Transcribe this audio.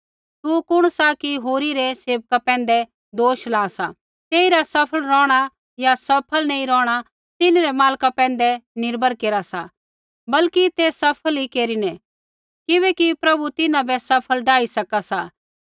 तू कुण सा कि होरी रै सेवका पैंधै दोष ला सा तेइरा सफल रौहणा या सफल नैंई रौहणा तिन्हरै मालका पैंधै निर्भर केरा सा बल्कि तै सफल ही केरिनै किबैकि प्रभु तिन्हां बै सफल डाही सका सा